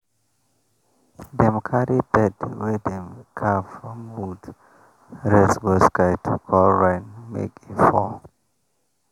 dem carry bird wey dem carve from wood raise go sky to call rain make e fall